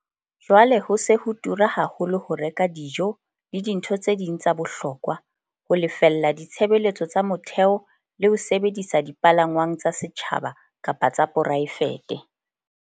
Jwale ho se ho tura haholo ho reka dijo le dintho tse ding tsa bohokwa, ho lefella ditshebeletso tsa motheo le ho sebedisa dipalangwang tsa setjhaba kapa tsa poraefete.